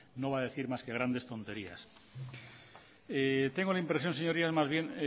no va a decir más que grandes tonterías tengo la impresión señorías más bien